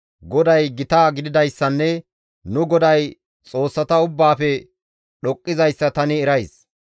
GODAY gita gididayssanne nu GODAY xoossata ubbaafe dhoqqizayssa tani erays.